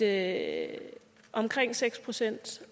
at omkring seks procent